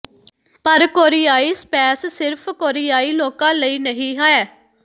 ਪਰ ਕੋਰੀਆਈ ਸਪੈਸ ਸਿਰਫ਼ ਕੋਰੀਆਈ ਲੋਕਾਂ ਲਈ ਨਹੀਂ ਹੈ